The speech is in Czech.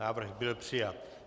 Návrh byl přijat.